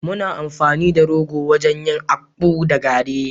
muna amfani da rogo wajen yin akpu da garri